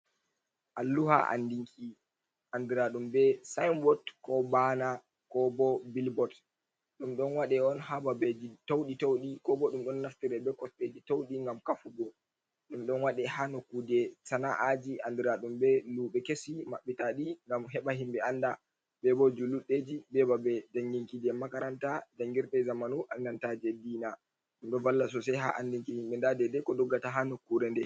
Alluha andinki andiraɗum be signboard ko baana kobo billboard. Ɗum ɗon waɗe on hababeji tauɗi tauɗi ko bo ɗum don naftire be kosɗeji tauɗi ngam kafugo ɗum. Ɗon waɗe ha nokkuje sana'aji andiraɗum be luɓe kesi maɓɓitaɗi ngam heɓa himɓe anda be bo julurɗeji be babe janginki je makaranta jangirɗe je zamanu andantaje deena. Ɗum ɗo valla sosai ha andinki himɓe nda dede ko doggata ha nokkure nde.